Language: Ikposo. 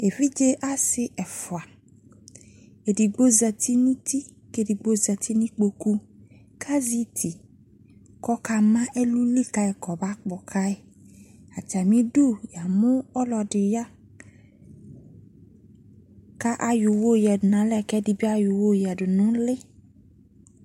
Evidze ase ɛfuaEdigbo zati no uti ke ɛdigvo zati no ikpoku kazɛ iti kɔ kaa ma ɛluli kai kɔ ba kpɔ kai Atame du ya mo ɛluɛsde ya ka ayɔ uwɔ yɔ yiadu nalɛ ko ɛde be ayɔ uwɔ yiadu no ule